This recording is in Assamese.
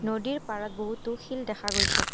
নদীৰ পাৰত বহুতো শিল দেখা গৈছে।